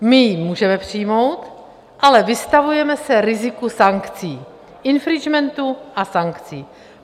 My ji můžeme přijmout, ale vystavujeme se riziku sankcí, infringementu a sankcí.